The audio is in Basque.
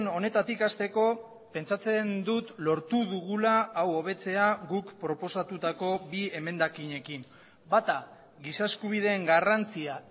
honetatik hasteko pentsatzen dut lortu dugula hau hobetzea guk proposatutako bi emendakinekin bata giza eskubideen garrantzia